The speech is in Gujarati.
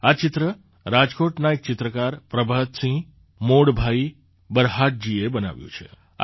આ ચિત્ર રાજકોટના એક ચિત્રકાર પ્રભાતસિંહ મોડભાઈ બરહાટજીએ બનાવ્યું હતું